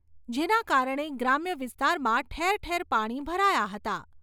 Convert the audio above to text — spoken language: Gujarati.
જેના કારણે ગ્રામ્ય વિસ્તારમાં ઠેર ઠેર પાણી ભરાયાં હતાં.